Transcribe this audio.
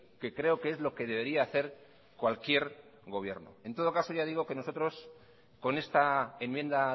que creo que es lo que debería hacer cualquier gobierno en todo caso nosotros con esta enmienda